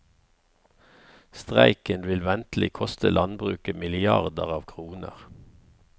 Streiken vil ventelig koste landbruket milliarder av kroner.